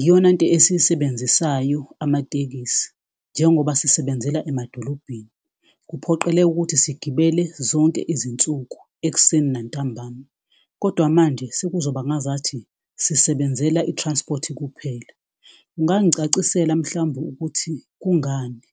iyonanto esiyisebenzisayo amatekisi. Njengoba sisebenzela emadolobheni kuphoqeleka ukuthi sigibele zonke izinsuku, ekuseni nantambama. Kodwa manje sekuzoba ngazathi sisebenzela i-transport kuphela. Ungangicacisela mhlambe ukuthi kungani?